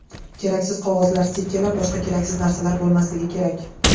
Keraksiz qog‘ozlar, stikerlar, boshqa keraksiz narsalar bo‘lmasligi kerak.